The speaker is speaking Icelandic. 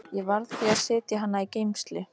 Ég varð því að setja hana í geymslu.